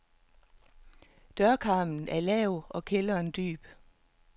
Dørkarmen er lav og kælderen dyb.